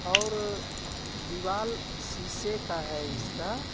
और दीवाल शीशे का है इसका.